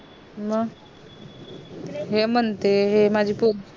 म ये म्हणते माझी पोर